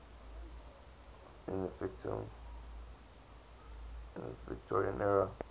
in the victorian era